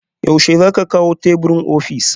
Yaushe za ku kawo teburin ofis?